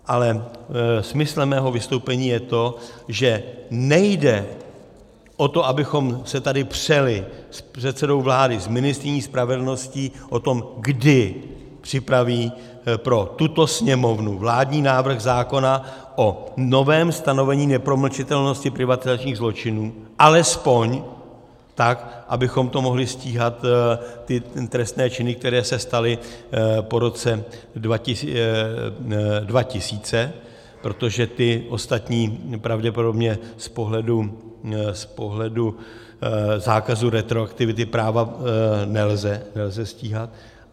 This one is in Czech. Ale smyslem mého vystoupení je to, že nejde o to, abychom se tady přeli s předsedou vlády, s ministryní spravedlnosti o tom, kdy připraví pro tuto Sněmovnu vládní návrh zákona o novém stanovení nepromlčitelnosti privatizačních zločinů alespoň tak, abychom to mohli stíhat, ty trestné činy, které se staly po roce 2000, protože ty ostatní pravděpodobně z pohledu zákazu retroaktivity práva nelze stíhat.